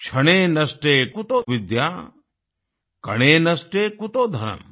क्षणे नष्टे कुतो विद्या कणे नष्टे कुतो धनम्